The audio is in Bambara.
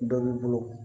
Dɔ b'i bolo